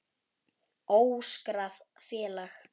Óskráð félag.